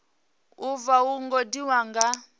u vha wo gudiwa nga